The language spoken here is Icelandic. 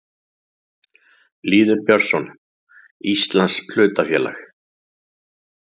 Lýður Björnsson: Íslands hlutafélag.